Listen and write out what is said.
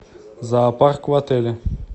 зоопарк в отеле